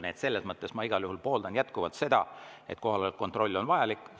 Nii et selles mõttes ma igal juhul pooldan jätkuvalt seda, et kohaloleku kontroll on vajalik.